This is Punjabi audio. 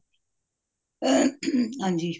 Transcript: ਹਨਜੀ